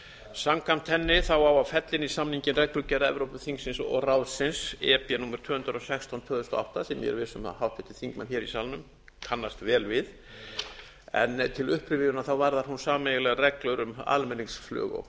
samkvæmt henni á að fella inn í samninginn reglugerð evrópuþingsins og ráðsins númer tvö hundruð og sextán tvö þúsund og átta sem ég er viss um að háttvirtir þingmenn hér í salnum kannast vel við en til upprifjunar varðar hún sameiginlegar reglur um almenningsflug og